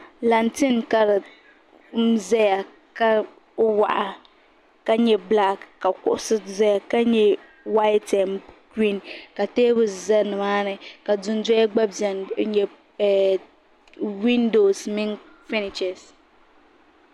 Lanten n zaya ka waɣa ka nyɛ bilaak ka kuɣusi zaya ka nyɛ whayite n giriin ka teebuli za ni maa ni ka dundɔya gba bɛni n nyɛ windoos mini fɛniches.